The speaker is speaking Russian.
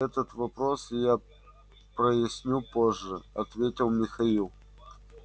этот вопрос я проясню позже ответил михаил